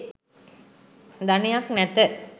ධනයක් නැත